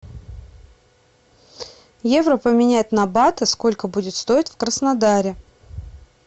евро поменять на баты сколько будет стоить в краснодаре